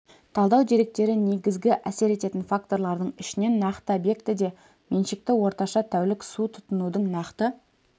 талдау деректері негізгі әсер ететін факторлардың ішінен нақты объектіде меншікті орташа тәулік су тұтынудың нақты